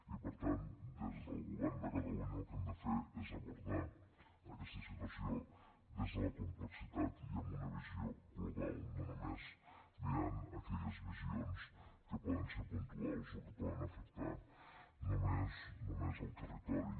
i per tant des del govern de catalunya el que hem de fer és abordar aquesta situació des de la complexitat i amb una visió global no només mirant aquelles visions que poden ser puntuals o que poden afectar només al territori